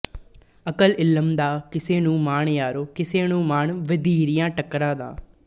ਅਕਲ ਇਲਮ ਦਾ ਕਿਸੇ ਨੂੰ ਮਾਣ ਯਾਰੋ ਕਿਸੇ ਨੂੰ ਮਾਣ ਵਧੀਰੀਆਂ ਟੱਕਰਾਂ ਦਾ